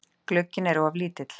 Glugginn er of lítill.